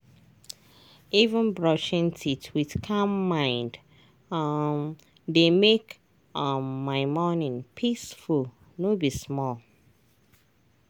even brushing teeth with calm mind um dey make um my morning peaceful no be small.